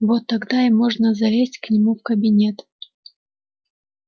вот тогда и можно залезть к нему в кабинет